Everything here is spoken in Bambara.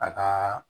A kaa